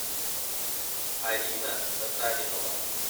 алина татаринова